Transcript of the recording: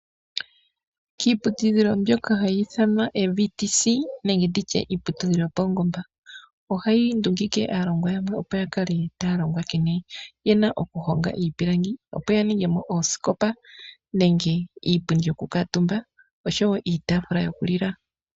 Kiiputudhilo mbyoka hayi ithanwa ee VTC nenge nditye iiputudhilo yopaungomba. Ohayi ndungike aalongwa yawo opo yavule oku honga iipilangi. Opo ya ningemo oosikopa neenge iipundi yoku kuutumba osho woo iitaafula yoku lila.